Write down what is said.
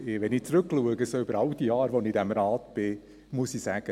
Wenn ich zurückschaue über all die Jahre, die ich in diesem Rat bin, dann muss ich sagen: